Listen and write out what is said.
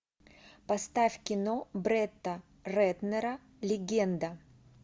поставь кино бретта рэтнера легенда